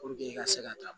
i ka se ka taa